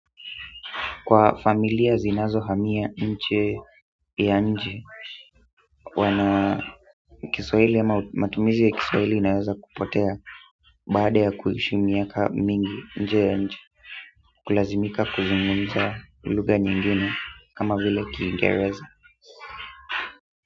Kwa familia zinazohamia nje ya nchi Kiswahili ama matumizi inaweza kupotea. Baade ya kuhishi miaka mingi baada ja kwa mingi nje ya nje ya nchi. Kulazimika kuzungumza luga nyingine kama vile Kiingereza.